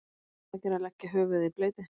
nú er um að gera að leggja höfuðið í bleyti